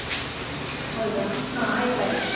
ಹೌದಾ? ಹ ಆಯ್ತಾಯ್ತು.